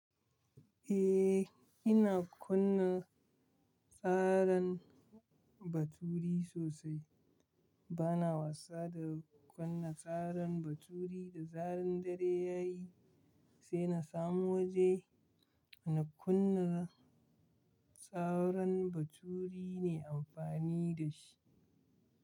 Eh, ina kunna tsarin baturi sosai. Bana wasa da kunna tsarin baturi da zaren dare yayi, sai na samu waje na kunna tsarin baturi ne amfani da shi.